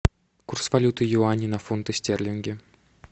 курс валюты юани на фунты стерлинги